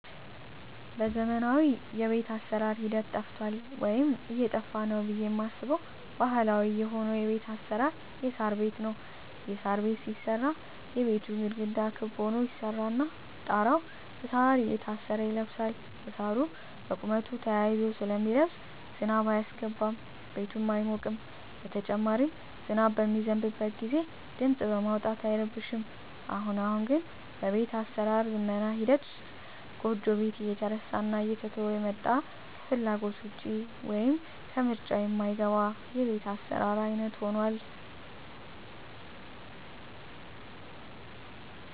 በዘመናዊ የቤት አሰራር ሂደት ጠፍቷል ወይም እየጠፋ ነው ብየ ማስበው ባህላዊ የሆነው የቤት አሰራር የሳር ቤት ነው። የሳር ቤት ሲሰራ የቤቱ ግድግዳ ክብ ሁኖ ይሰራና ጣራው እሳር እየታሰረ ይለብሳል እሳሩ በቁመቱ ተያይዞ ስለሚለብስ ዝናብ አያስገባም ቤቱም አይሞቅም በተጨማሪም ዝናብ በሚዘንብበት ግዜ ድምጽ በማውጣት አይረብሽም። አሁን አሁን ግን በቤት አሰራር ዝመና ሂደት ውስጥ ጎጆ ቤት እየተረሳና እየተተወ የመጣ ከፍላጎት ውጭ ወይም ከምርጫ ማይገባ የቤት አሰራር አይነት ሁኗል።